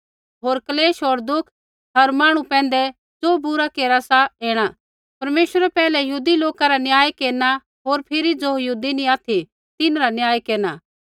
होर क्लेश होर दुःख हर मांहणु पैंधै ज़ो बुरा केरा सा ऐणा परमेश्वरै पैहलै यहूदी लोका रा न्याय केरना होर फिरी ज़ो यहूदी नी ऑथि तिन्हरा न्याय केरना